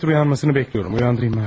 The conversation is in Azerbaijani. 3 saatdır oyanmasını gözləyirəm.